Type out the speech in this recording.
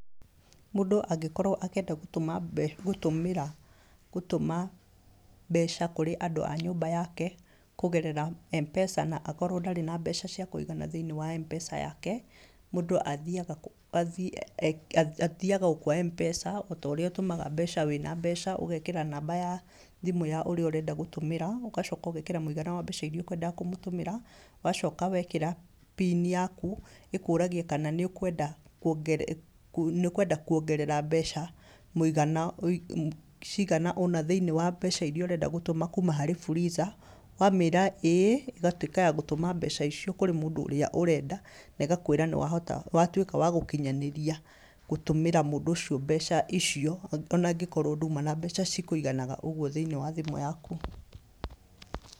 Mũndũ angĩkorwo akĩenda gũtũma gũtũmĩra gũtũma mbeca kũrĩ andũ a nyũmba yake, kũgerera M-pesa na akorwo ndarĩ na mbeca cia kũigana thĩiniĩ wa M-pesa yake, mũndũ athiaga athiaga o kwa M-pesa, o ta ũrĩa ũtũmaga mbeca wĩna mbeca, ũgekĩra namba ya thimũ ya ũrĩa ũrenda gũtũmĩra, ũgacoka ũgekĩra mũigana wa mbeca irĩa ũkwenda kũmũtũmĩra, wacoka wekĩra pini yaku, ĩkũragia kana nĩ ũkwenda nĩ ũkwenda kuongerera mbeca mũigana cigana ũna thĩiniĩ wa mbeca irĩa ũrenda gũtũma kuuma harĩ Fuliza. Wamĩra ĩĩ, ĩgatuĩka ya gũtũma mbeca icio kũrĩ mũndũ ũrĩa ũrenda, na ĩgakwĩra nĩ wahota watuĩka wa gũkinyanĩria gũtũmĩra mũndũ ũcio mbeca icio, ona angĩkorwo nduma na mbeca cikũiganaga ũguo thĩiniĩ wa thimũ yaku